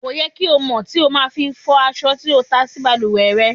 Kò yẹ kí ó mọ́ tí o má a fi fọ̀ aṣọ tí o ta sí balùwẹ̀ re.